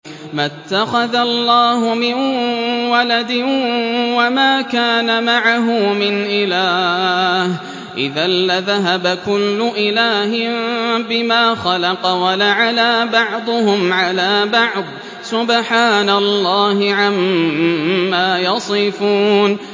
مَا اتَّخَذَ اللَّهُ مِن وَلَدٍ وَمَا كَانَ مَعَهُ مِنْ إِلَٰهٍ ۚ إِذًا لَّذَهَبَ كُلُّ إِلَٰهٍ بِمَا خَلَقَ وَلَعَلَا بَعْضُهُمْ عَلَىٰ بَعْضٍ ۚ سُبْحَانَ اللَّهِ عَمَّا يَصِفُونَ